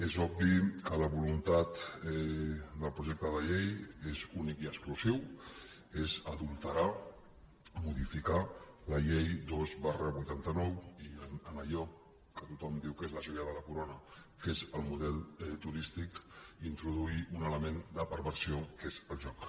és obvi que la voluntat del projecte de llei és única i exclusiva és adulterar modificar la llei dos vuitanta nou i en allò que tothom diu que és la joia de la corona que és el model turístic introduir un element de perversió que és el joc